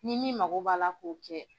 Ni min mago b'a la k'o kɛ.